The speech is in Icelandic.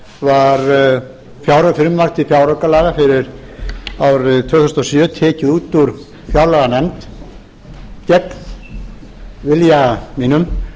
var frumvarp til fjáraukalaga fyrir árið tvö þúsund og sjö tekið út úr fjárlaganefnd gegn vilja mínum